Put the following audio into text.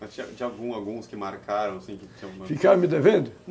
Mas tinha tinha alguns, alguns que marcaram, assim, que tinham... Ficaram me devendo?